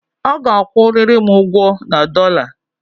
A ga-akwụ riri'm ugwo na dollar!